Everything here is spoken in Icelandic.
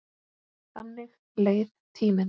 Þannig leið tíminn.